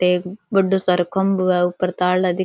एक बढ्दो सारो खम्भों है ऊपर तार --